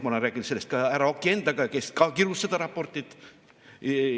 Ma olen rääkinud sellest ka härra Oki endaga ja tema ka kirus seda raportit.